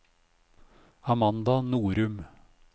Amanda Norum